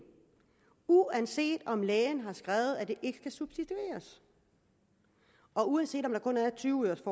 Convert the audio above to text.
uanset om lægen har skrevet at det ikke skal substitueres og uanset om der kun er tyve øres